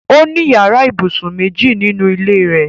Ó ní yàrá-ìbùsùn méjì nínú ilé rẹ̀.